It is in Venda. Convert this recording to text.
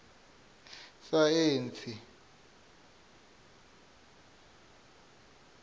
saentsi